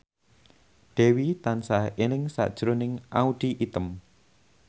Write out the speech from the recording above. Dewi tansah eling sakjroning Audy Item